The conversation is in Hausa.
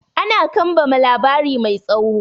Ana kambama labari mai tsawo.